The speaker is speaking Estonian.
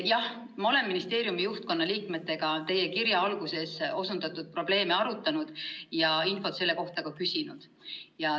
Jah, ma olen ministeeriumi juhtkonna liikmetega teie kirja alguses osundatud probleeme arutanud ja infot selle kohta ka küsinud.